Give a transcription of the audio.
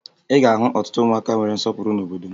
Ị ga-ahụ ọtụtụ ụmụaka nwere nsọpụrụ n'obodo m